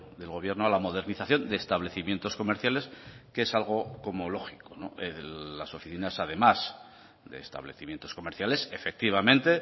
del gobierno a la modernización de establecimientos comerciales que es algo como lógico las oficinas además de establecimientos comerciales efectivamente